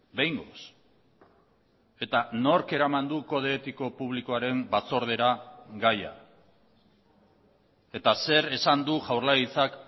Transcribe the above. behingoz eta nork eraman du kode etiko publikoaren batzordera gaia eta zer esan du jaurlaritzak